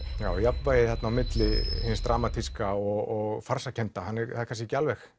já jafnvægið milli hins dramatíska og farsakennda er kannski ekki alveg